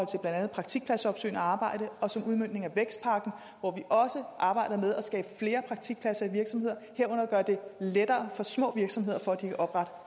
til blandt andet praktikpladsopsøgende arbejde og som udmøntning af vækstpakken hvor vi også arbejder med at skabe flere praktikpladser i virksomheder herunder gøre det lettere for små virksomheder at oprette